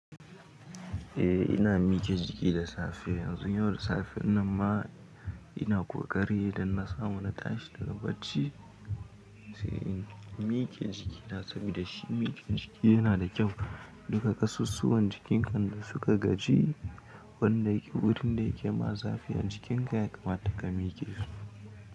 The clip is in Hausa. Eh ina miƙe jiki da safe, yanzu yau da safen nan ma ina ƙoƙari idan na samu na tashi daga bacci, sai in miƙe jiki. Don sabida shi miƙe jiki yana da kyau duka ƙasussuwan jikin kan da suka gaji wanda yake wurin da yake ma zafi a jikin ka ya kamata ka mike shi.